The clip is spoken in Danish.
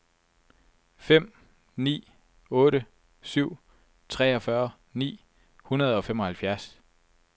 fem ni otte syv treogfyrre ni hundrede og femoghalvfjerds